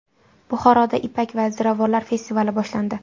Buxoroda ipak va ziravorlar festivali boshlandi.